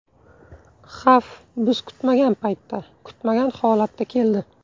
Xavf biz kutmagan paytda, kutmagan holatda keldi.